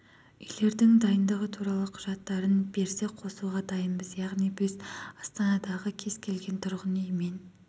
үйлердің дайындығы туралы құжаттарын берсе қосуға дайынбыз яғни біз астанадағы кез келген тұрғын үй мен